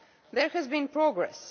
There has been progress.